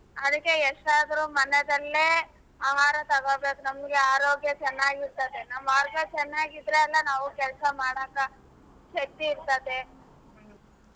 ಅದ್ಕೆ ಎಷ್ಟಾದ್ರು ಮನೆನಲ್ಲೇ ಆಹಾರ ತಗೋಬೇಕು ನಮ್ಗೆ ಆರೋಗ್ಯ ಚನ್ನಾಗಿರ್ತದೆ ನಮ್ ಆರೋಗ್ಯ ಚನಾಗಿದ್ರೆ ಅಲಾ ನಾವು ಕೆಲಸಾ ಮಾಡಾಕ ಶಕ್ತಿ ಇರ್ತದೆ.